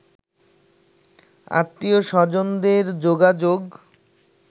আত্মীয়-স্বজনদের যোগাযোগ